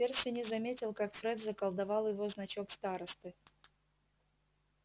перси не заметил как фред заколдовал его значок старосты